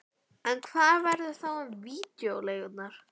En hvað verður þá um vídeóleigurnar?